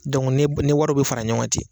ne wari bɛ fara ɲɔgɔn kan ten